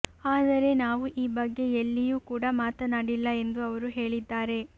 ಆದರೆ ನಾವು ಈ ಬಗ್ಗೆ ಎಲ್ಲಿಯೂ ಕೂಡ ಮಾತನಾಡಿಲ್ಲ ಎಂದು ಅವರು ಹೇಳಿದ್ದಾರೆ